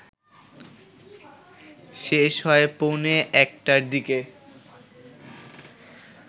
শেষ হয় পৌণে একটার দিকে